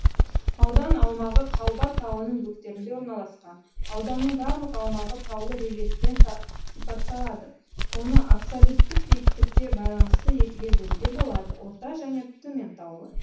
аудан аумағы қалба тауының бөктерінде орналасқан ауданның барлық аумағы таулы рельефпен сипатталады оны абсолюттік биіктікке байналысты екіге бөлуге болады орта және төмен таулы